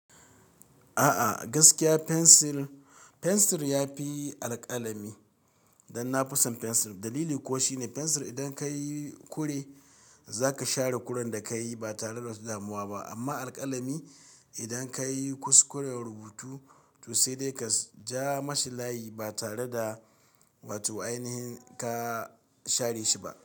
A'a gaskiya pensil, pensil ya fi alƙalami. Dan na fi son pensil. Dalili kuwa shine pensil idan ka yi ƙure za ka share ƙuren da ka yi ba tare da damuwa ba. Amma alƙalami idan ka yi kuskuren rubutu to sai dai ka ja masa layi ba tare da wato ainihi ka share shi ba.